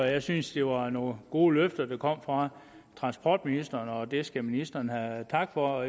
jeg syntes det var nogle gode løfter der kom fra transportministeren og det skal ministeren have tak for